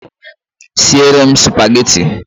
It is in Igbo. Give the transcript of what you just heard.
Sie re m Spageti